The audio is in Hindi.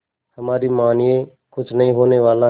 हमारी मानिए कुछ नहीं होने वाला है